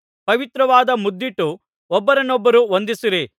ಪವಿತ್ರವಾದ ಮುದ್ದಿಟ್ಟು ಒಬ್ಬರನ್ನೊಬ್ಬರು ವಂದಿಸಿರಿ